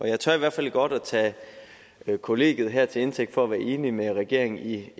jeg tør i hvert fald godt at tage kollegiet her til indtægt for at være enig med regeringen i